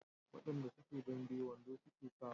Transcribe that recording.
wayanda suke dambe wando suke sawa